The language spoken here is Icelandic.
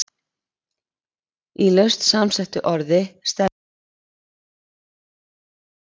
Í laust samsettu orði stendur fyrri liður í eignarfalli, ýmist eintölu eða fleirtölu.